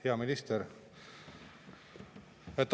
Hea minister!